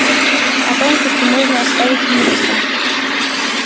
а тонкости можно оставить юристам